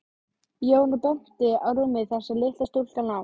Jón og benti á rúmið þar sem litla stúlkan lá.